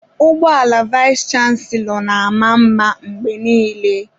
Ụgbọ ala vayis chansilọ na-ama mma mgbe niile.